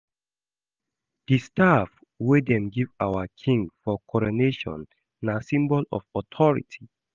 Di staff wey dem give our king for coronation na symbol of authority.